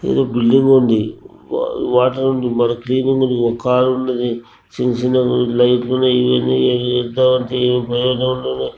ఈడ బిల్డింగ్ ఉంది వ--వాటర్ ఉంది ఇంటి ముందు ఒక కార్ ఉన్నది చిన్న చిన్న లైట్ లు ఉన్నవి ఇవన్నీ